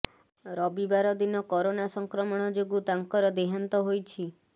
ରବିବାର ଦିନ କରୋନା ସଂକ୍ରମଣ ଯୋଗୁଁ ତାଙ୍କର ଦେହାନ୍ତ ହୋଇଛି